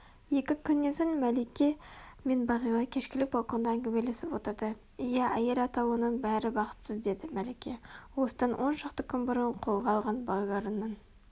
екі күннен сон мәлике мен бағила кешкілік балконда әңгімелесіп отырды иә әйел атаулының бәрі бақытсыз деді мәлике осыдан он шақты күн бұрын қолға алған балаларының